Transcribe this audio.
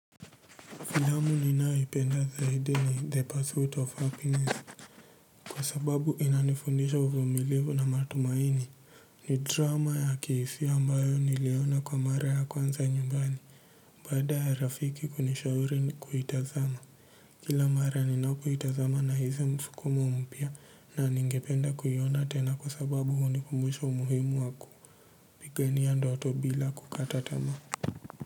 Filamu ninayoipenda zaidi ni the pursuit of happiness kwa sababu inanifundisha uvumilivu na matumaini ni drama ya kihisia ambayo niliona kwa mara ya kwanza nyumbani baada ya rafiki kunishauri ni kuitazama kila mara ninapoitazama na hisi msukumo mpya na ningependa kuiona tena kwa sababu hunikumbusha umuhimu waku pigania ndoto bila kukata tamaa.